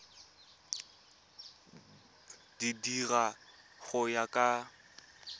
di dira go ya ka